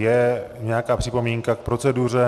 Je nějaká připomínka k proceduře?